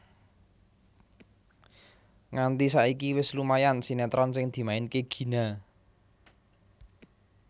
Nganti saiki wis lumayan sinetron sing dimainke Gina